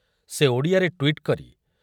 ସେ ଓଡ଼ିଆରେ ଟ୍ୱିଟ କରି